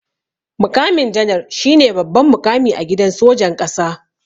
Muƙamin janar shine babban muƙami a gidan sojan ƙasa.